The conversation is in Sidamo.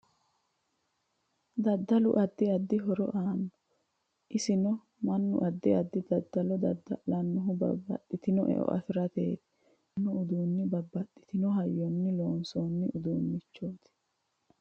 Daddalu addi addi horo aanno isenno mannu addi addi dadallo daddala'nohu babbaxitinno e'o afirateeti konne darga leelanno uduuni babbaxitinno hayyonni loosooni iduunichooti.